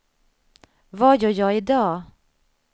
vad gör jag idag